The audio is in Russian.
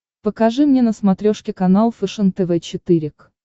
покажи мне на смотрешке канал фэшен тв четыре к